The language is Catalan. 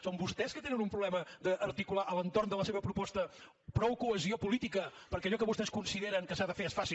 són vostès que tenen un problema d’articular a l’entorn de la seva proposta prou cohesió política perquè allò que vostès consideren que s’ha de fer es faci